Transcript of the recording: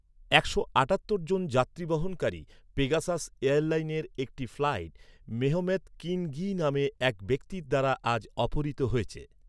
একশো আটাত্তর জন যাত্রী বহনকারী, পেগাসাস এয়ারলাইনের একটি ফ্লাইট মেহমেত গ্কি‌ন গি নামে এক ব্যক্তির দ্বারা আজ অপহৃত হয়েছে।